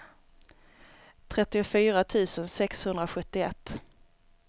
trettiofyra tusen sexhundrasjuttioett